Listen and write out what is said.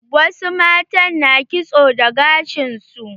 Wasu matan na kitso da gashin su.